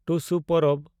ᱴᱩᱥᱩ ᱯᱚᱨᱚᱵᱽ